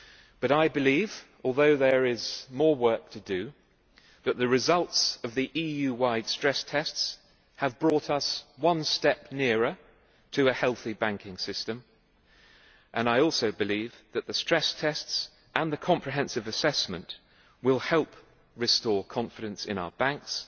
But I believe although there is more work to do that the results of the EU wide stress tests have brought us one step nearer to a healthy banking system, and that the stress tests and the comprehensive assessment will help restore confidence in our banks.